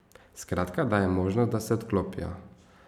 Skratka, daje jim možnost, da se odklopijo.